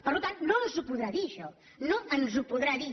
per tant no ens ho podrà dir això no ens ho podrà dir